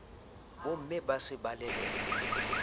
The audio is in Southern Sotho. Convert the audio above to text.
bomme ba se ba leleka